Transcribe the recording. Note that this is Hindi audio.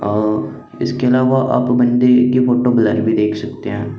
आओ इसके अलावा आप मंदिर की फोटो ब्लैक भी देख सकते हैं।